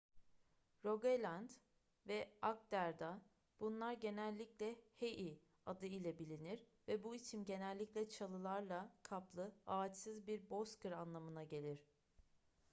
rogaland ve agder'da bunlar genellikle hei adı ile bilinir ve bu isim genellikle çalılarla kaplı ağaçsız bir bozkır anlamına gelir